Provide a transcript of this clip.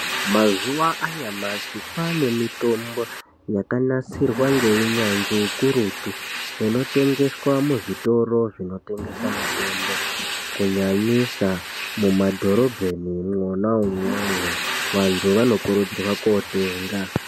Mazuva anyamashi kwaane mitombo yakanasirwa neunyanzvi hukurutu. Inotengeswa muzvitoro zvinotengesa mitombo, kunyanyisa mumadhorobheni mwona imwomwo, vantu vanokurudzirwa kootenga.